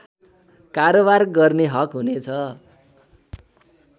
कारोवार गर्ने हक हुनेछ